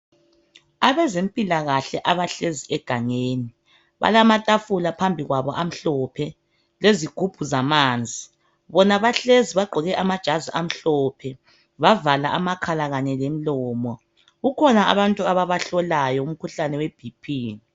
Abezempilakahle abahlezi egangeni balamatafula phambi kwabo amhlophe lezigubhu zamanzi. Bona bahlezi bagqoke amajazi amhlophe bavala amakhala kanye lemlomo, kukhona abantu ababahlolayo umkhuhlane weBP.